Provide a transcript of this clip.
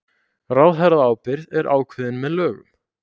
Ráðherraábyrgð er ákveðin með lögum